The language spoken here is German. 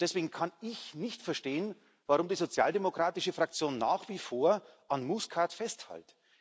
Deswegen kann ich nicht verstehen, warum die sozialdemokratische Fraktion nach wie vor an Muscat festhält.